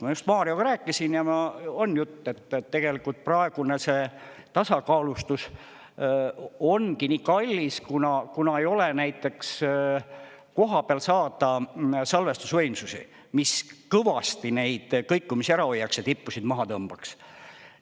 Ma just Marioga rääkisin ja on jutt, et tegelikult praegune see tasakaalustus ongi nii kallis, kuna ei ole näiteks kohapeal saada salvestusvõimsusi, mis kõvasti neid kõikumisi ära hoiaks ja tippusid maha tõmbaks.